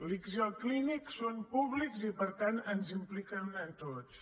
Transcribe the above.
l’ics i el clínic són públics i per tant ens impliquen a tots